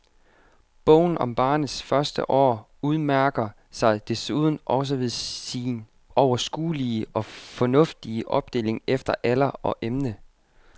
Bogen om barnets første år udmærker sig desuden også ved sin overskuelige og fornuftige opdeling efter alder og emne.